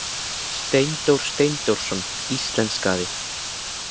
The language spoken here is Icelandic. Steindór Steindórsson íslenskaði.